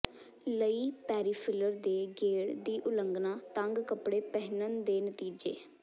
ਲਈ ਪੈਰੀਫਿਰਲ ਦੇ ਗੇੜ ਦੀ ਉਲੰਘਣਾ ਤੰਗ ਕੱਪੜੇ ਪਹਿਨਣ ਦੇ ਨਤੀਜੇ